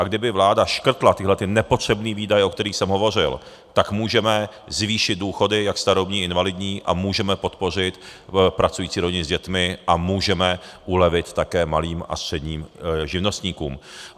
A kdyby vláda škrtla tyhlety nepotřebné výdaje, o kterých jsem hovořil, tak můžeme zvýšit důchody jak starobní, invalidní a můžeme podpořit pracující rodiny s dětmi a můžeme ulevit také malým a středním živnostníkům.